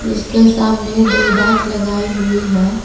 इसके सामने दो बाइक लगाई हुई है।